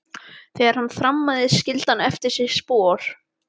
Þegar hann þrammaði skildi hann eftir sig spor.